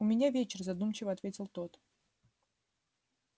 у меня вечер задумчиво ответил тот